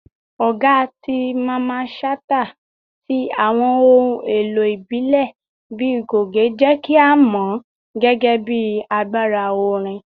Ọga ti Mamman Shata ti awọn ohun elo ibile bii goge jẹ ki a mọ ọ gẹgẹbi agbara orin.